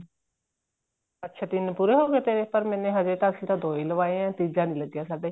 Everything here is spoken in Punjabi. ਅੱਛਾ ਤਿੰਨ ਪੂਰੇ ਹੋਗੇ ਤੇਰੇ ਪਰ ਮੈਨੇ ਅਜੇ ਤਾਂ ਅਸੀਂ ਤਾਂ ਦੋ ਲਵਾਏ ਆ ਤੀਜਾ ਨਹੀਂ ਲੱਗਿਆ ਸਾਡੇ